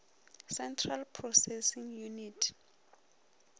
central processing unit